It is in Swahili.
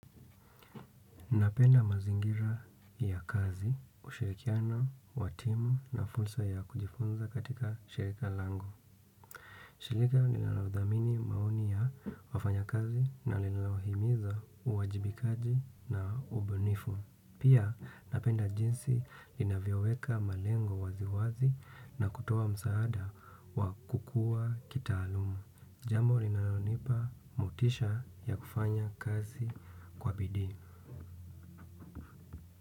Napenda mazingira ya kazi ushirikiano wa timu na fursa ya kujifunza katika shirika langu. Shirika lililodhamini maoni ya wafanyakazi na linalohimiza uwajibikaji na ubunifu. Pia napenda jinsi linavyoweka malengo waziwazi na kutoa msaada wa kukuwa kitaaluma. Jambo linalonipa motisha ya kufanya kazi kwa bidii.